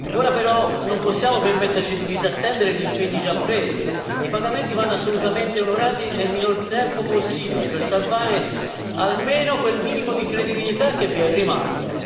Ora però non possiamo permetterci di disattendere gli impegni già presi e i pagamenti vanno assolutamente onorati nel minor tempo possibile per salvare almeno quel minimo di credibilità che è rimasta.